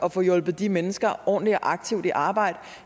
at få hjulpet de mennesker ordentligt og aktivt i arbejde